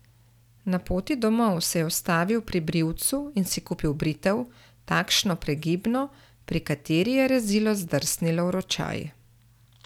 Na poti domov se je ustavil pri brivcu in si kupil britev, takšno pregibno, pri kateri je rezilo zdrsnilo v ročaj.